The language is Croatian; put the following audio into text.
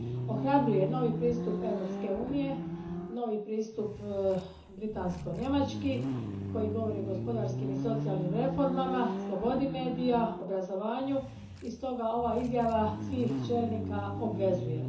Ohrabruje novi pristup Europske unije, novi britansko njemački pristup koji govori o gospodarskim i socijalnim reformama, slobodi medija, obrazovanju i stoga ova izjava svih čelnika obvezuje.